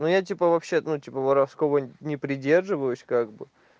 ну я типа вообще-то ну типа воровского не придерживаюсь как бы